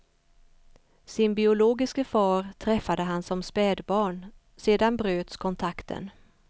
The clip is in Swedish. Sin biologiske far träffade han som spädbarn, sedan bröts kontakten.